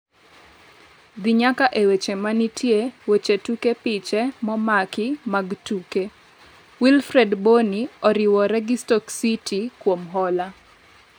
dhi nyaka e weche manitiye, weche tuke piche momaki mag tuke Wilfred Bonny oriwore gi Stoke City kuom hola